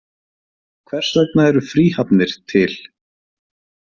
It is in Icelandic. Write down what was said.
Hvers vegna eru fríhafnir til?